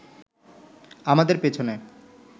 আমাদের পেছনে